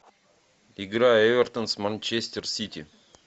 игра эвертон с манчестер сити